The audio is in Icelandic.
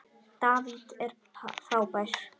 David er frábær.